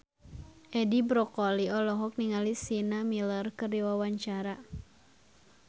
Edi Brokoli olohok ningali Sienna Miller keur diwawancara